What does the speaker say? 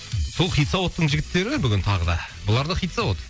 сол хит заводтың жігіттері бүгін тағы да бұлар да хит завод